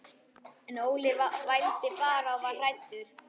En Óli vældi bara og var hræddur.